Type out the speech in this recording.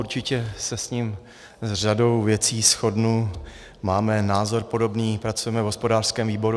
Určitě se s ním s řadou věcí shodnu, máme názor podobný, pracujeme v hospodářském výboru.